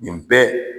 Nin bɛɛ